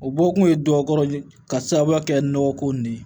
O bɔ kun ye dɔ kɔrɔ ka sababuya kɛ nɔgɔ ko nin ye